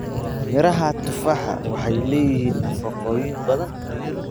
Midhaha tufaax waxay leeyihiin nafaqooyin badan.